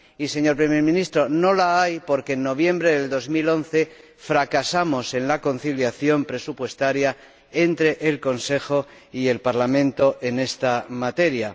Y, señor Primer Ministro, no la hay porque en noviembre de 2011 fracasamos en la conciliación presupuestaria entre el Consejo y el Parlamento en esta materia.